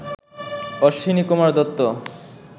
Ashwinikumar Dutta